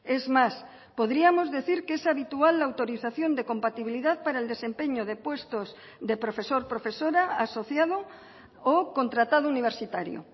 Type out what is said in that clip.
es más podríamos decir que es habitual la autorización de compatibilidad para el desempeño de puestos de profesor profesora asociado o contratado universitario